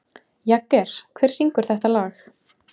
Jagger, hver syngur þetta lag?